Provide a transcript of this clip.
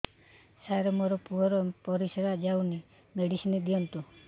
ସାର ମୋର ପୁଅର ପରିସ୍ରା ଯାଉନି ମେଡିସିନ ଦିଅନ୍ତୁ